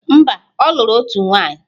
Mba, ọ lụrụ otu nwaanyị